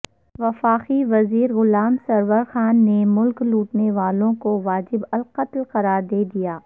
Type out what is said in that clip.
وفاقی وزیر غلام سرور خان نے ملک لوٹنے والوں کو واجب القتل قرار دے دیا